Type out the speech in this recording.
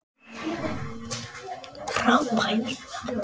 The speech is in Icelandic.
Frábær völlur.